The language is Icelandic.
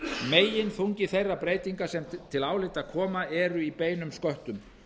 meginþungi þeirra breytinga sem til álita koma er í beinum sköttum